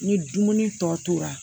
Ni dumuni tɔ tora